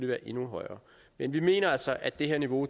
være endnu højere men vi mener altså at det her niveau